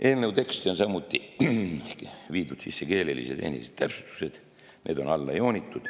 Eelnõu teksti on viidud keelelised ja tehnilised täpsustused, need on alla joonitud.